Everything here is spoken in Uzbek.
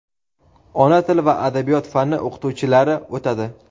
"Ona tili va adabiyot" fani o‘qituvchilari o‘tadi.